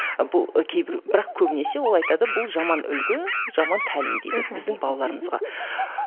ал бұл кейбір бірақ көбінесе ол айтады бұл жаман үлгі жаман тәлім дейді біздің балаларымызға